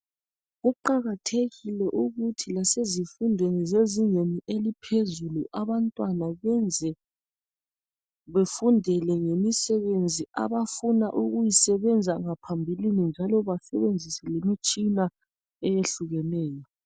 kuqakathekile ukuthi lase zifundweni ezisezingeni eziphezulu abantwana benze befundele ngemisebenzi abafuna ukuyisebenzisa ngaphambilini njalo basebenzise leimitshina eyehlukeneyo